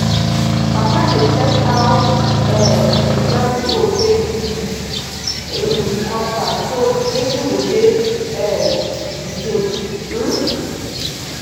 papa dey check how um the planting hole take dip with him cutlass so spacing go dey um the same. um